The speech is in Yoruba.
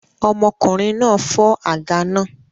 Ọmọkùnrin náà fọ́ àga náà